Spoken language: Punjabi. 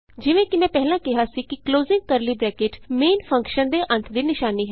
ਜਿਵੇਂ ਕਿ ਮੈਂ ਪਹਿਲਾਂ ਕਿਹਾ ਸੀ ਕਿ closing curly bracket main function ਦੇ ਅੰਤ ਦੀ ਨਿਸ਼ਾਨੀ ਹੈ